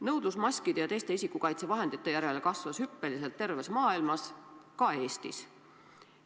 Nõudlus maskide ja teiste isikukaitsevahendite järele kasvas hüppeliselt terves maailmas, ka Eestis.